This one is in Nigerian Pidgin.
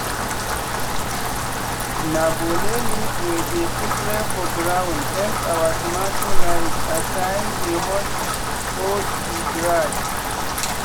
na bole leaf wey we spread for ground help our tomato life as time dey hot or e dry.